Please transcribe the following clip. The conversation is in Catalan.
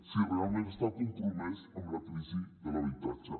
si realment està compromès amb la crisi de l’habitatge